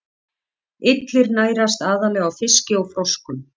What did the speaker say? Illir nærast aðallega á fiski og froskum.